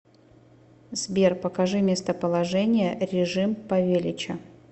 сбер покажи местоположение режим павелича